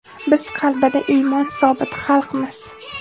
Biz qalbida iymoni sobit xalqmiz.